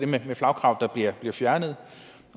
det med flagkravet der bliver fjernet